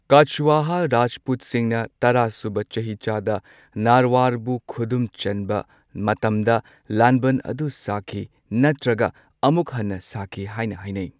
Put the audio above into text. ꯀꯆꯋꯥꯍꯥ ꯔꯥꯖꯄꯨꯠꯁꯤꯡꯅ ꯇꯔꯥ ꯁꯨꯕ ꯆꯍꯤꯆꯥꯗ ꯅꯥꯔꯋꯥꯔꯕꯨ ꯈꯨꯗꯨꯝ ꯆꯟꯕ ꯃꯇꯝꯗ ꯂꯥꯟꯕꯟ ꯑꯗꯨ ꯁꯥꯈꯤ ꯅꯠꯇ꯭ꯔꯒ ꯑꯃꯨꯛ ꯍꯟꯅ ꯁꯥꯈꯤ ꯍꯥꯏꯅ ꯍꯥꯏꯅꯩ꯫